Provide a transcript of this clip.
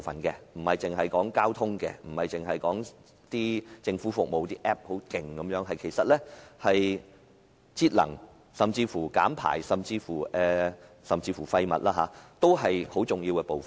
換言之，除了交通和政府服務應用程式外，節能、減排及廢物處理，也是智慧城市的重要部分。